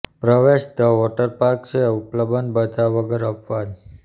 પ્રવેશ the water park છે ઉપલબ્ધ બધા વગર અપવાદ